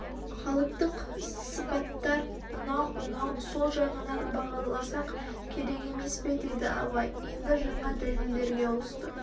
халыктық сыпаттар мынау мынау сол жағынан бағаласақ керек емес пе деді абай енді жаңа дәлелдерге ауысты